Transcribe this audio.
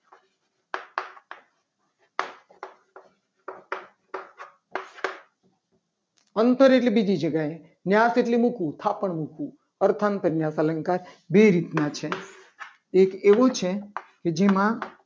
અંતર એટલે બીજી જગ્યાએ ન્યા એટલે મૂકવું. થાપણ મૂકવું અંધારન્યાસ અલંકાર બે રીતના છે. એક એવું છે. કે જે મા